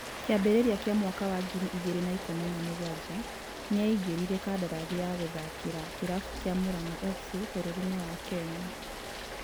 Kĩambĩrĩria kĩa mwaka wa ngiri ĩgĩrĩ na ikũmĩ na mugwaja, nĩ aĩngĩrire kandarathi ya gũthakĩra kĩrabu kĩa Muranga fc bũrũrinĩ wa Kenya.